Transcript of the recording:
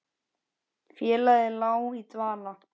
Félagið lá í dvala